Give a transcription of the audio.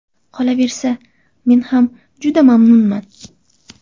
Qolaversa men ham juda mamnunman.